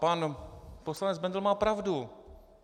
Pan poslanec Bendl má pravdu.